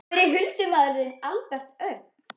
Hver er huldumaðurinn Albert Örn?